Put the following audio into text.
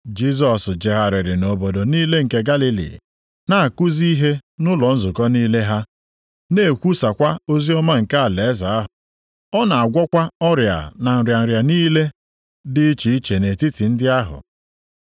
Jisọs jegharịrị nʼobodo niile nke Galili, na-akụzi ihe nʼụlọ nzukọ niile ha, na-ekwusakwa oziọma nke alaeze ahụ. Ọ na-agwọkwa ọrịa na nrịa nrịa niile dị iche iche nʼetiti ndị ahụ.